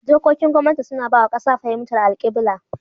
Dokokin gwamnati suna ba wa kasa fahimtar alkibla.